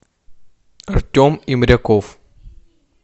артем имряков